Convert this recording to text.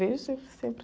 Vejo sempre, sempre.